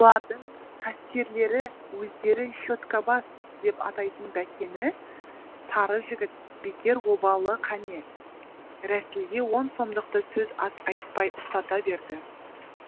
олардың кассирлері өздері щеткабас деп атайтын бәкені сары жігіт бекер обалы қане рәсілге он сомдықты сөз ат айтпай ұстата берді